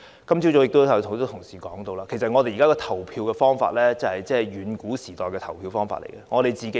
今早已有很多同事提到，現時的投票方法是遠古時代的投票方法。